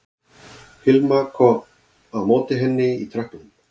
Hilma kom á móti henni í tröppunum